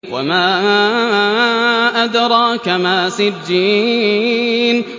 وَمَا أَدْرَاكَ مَا سِجِّينٌ